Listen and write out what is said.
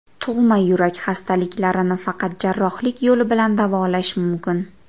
Tug‘ma yurak xastaliklarini faqat jarrohlik yo‘li bilan davolash mumkin.